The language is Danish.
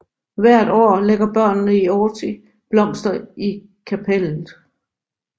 Hvert år lægger børnene i Authie blomster i kaptellet